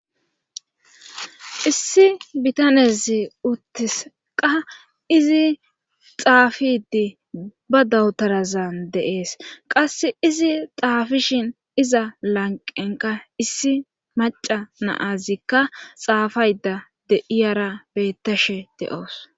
Issi bitanezi uttis qa izi xaafiddi ba dawtarazan de7ees qassi izi xaafishin iza lanqqen qa issi macca na7azikka xaafaydda de7iyaara beettashe de7aws.